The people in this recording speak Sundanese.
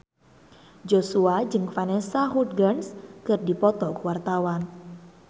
Joshua jeung Vanessa Hudgens keur dipoto ku wartawan